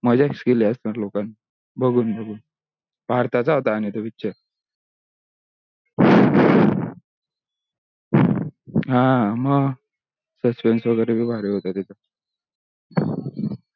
मजाच केली असेल लोकांनी बघून बघून भारताचा होता आणि तो picture हा मग suspense वगेरे भी भारी होते